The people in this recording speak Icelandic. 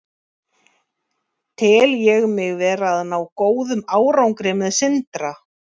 Tel ég mig vera að ná góðum árangri með Sindra?